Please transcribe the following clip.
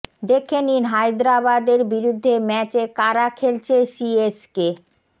দেখে নিন হায়দরাবাদের বিরুদ্ধে ম্যাচে কারা খেলছে সিএসকে